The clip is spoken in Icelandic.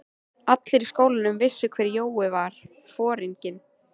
Allir í skólanum vissu hver Jói var, foringinn.